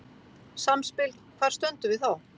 Samspil Hvar stöndum við þá?